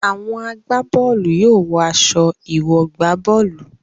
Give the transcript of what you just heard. Àwọn agbá bọ́ọ̀lù yóò wọ aṣọ ìwọ̀-gbá-bọ́ọ̀lù.